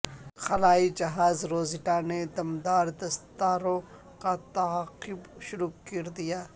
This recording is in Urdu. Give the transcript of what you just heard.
خلائی جہاز روزیٹا نے دمدار ستاروں کا تعاقب شروع کردیا